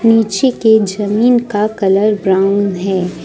नीचे के जमीन का कलर ब्राउन है।